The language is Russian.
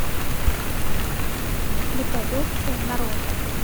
репродукция нарой